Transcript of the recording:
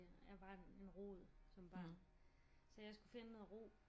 Jeg var en rod som barn så jeg skulle finde noget ro